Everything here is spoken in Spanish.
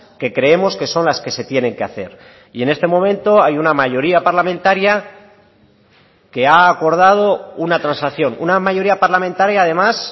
que creemos que son las que se tienen que hacer y en este momento hay una mayoría parlamentaria que ha acordado una transacción una mayoría parlamentaria además